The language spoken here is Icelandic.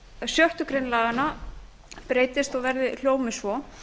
sjöttu grein laganna breytist og hljóði svo